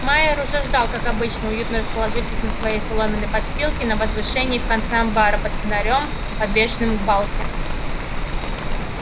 майер уже ждал как обычно уютно расположившись на своей соломенной подстилке на возвышении в конце амбара под фонарём подвешенным к балке